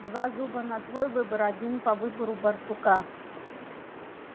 два зуба на твой выбор один по выбору барсука